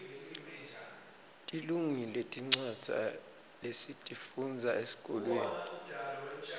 tilungile tincwadza lesitifundza esikolweni